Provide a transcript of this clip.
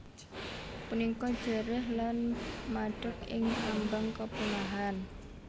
Punika jerih lan madeg ing ambang kepunahan